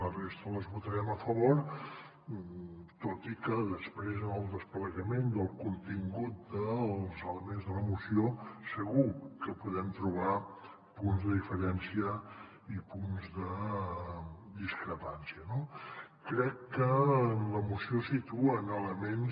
la resta les votarem a favor tot i que després en el desplegament del contingut dels elements de la moció segur que hi podem trobar punts de diferència i punts de discrepància no crec que en la moció situen elements